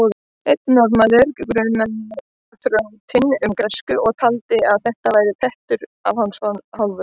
Einn norðanmaður grunaði þrjótinn um græsku og taldi að þetta væri prettur af hans hálfu.